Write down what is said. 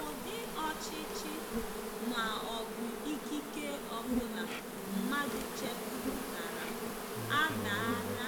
Ụdị ọchịchị ma ọ bụ ikike ọ bụla mmadụ chepụtara adaala